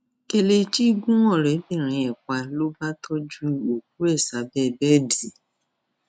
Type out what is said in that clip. kelechi gun ọrẹbìnrin ẹ pa ló bá tọjú òkú ẹ sábẹ bẹẹdì